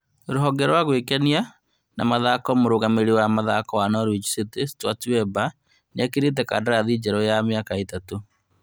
Rũhonge rwa gwĩkenia na mathako Mũrũgamĩrĩri wa mathako wa Norwich City Stuart Webber nĩetĩkĩrĩte kandarathi njerũ wa mĩaka ĩtatũ